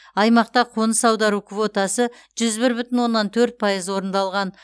аймақта қоныс аудару квотасы жүз бір бүтін оннан төрт пайыз орындалған